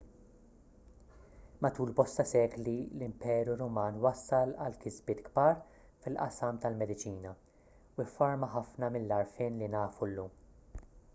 matul bosta sekli l-imperu ruman wassal għal kisbiet kbar fil-qasam tal-mediċina u fforma ħafna mill-għarfien li nafu llum